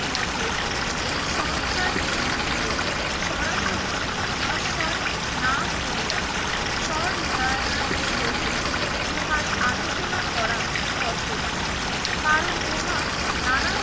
মতে এই সংস্কার টিমটি কে সরাসরি নস্যাৎ না করিয়া স্বনির্দয়তার সহিত উহার আলোচনা করা কর্তব্য কারণ উহা নানা